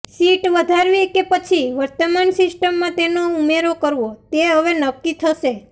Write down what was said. seat વધારવી કે પછી વર્તમાન સિસ્ટમમાં તેનો ઉમેરો કરવો તે હવે નક્કી થશે